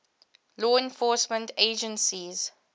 law enforcement agencies